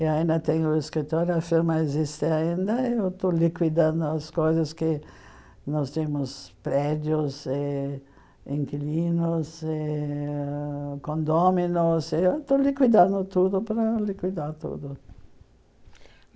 e ainda tenho escritório, a firma existe ainda, e eu estou liquidando as coisas que... nós temos prédios, e... inquilinos, e... condôminos, e eu estou liquidando tudo para liquidar tudo.